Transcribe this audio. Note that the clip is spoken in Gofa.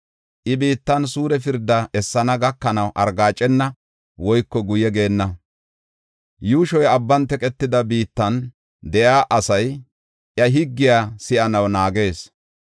I biittan suure pirda essenna gakanaw argaacena woyko guye geenna. Yuushoy abban teqetida biittan de7iya asay iya higgiya si7anaw naagees.